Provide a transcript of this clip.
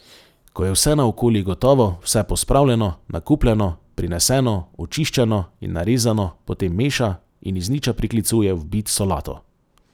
Ko je vse naokoli gotovo, vse pospravljeno, nakupljeno, prineseno, očiščeno in narezano, potem meša in iz niča priklicuje v bit solato.